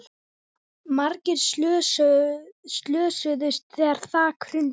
Margir slösuðust þegar þak hrundi